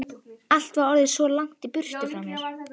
Allt var orðið svo langt í burtu.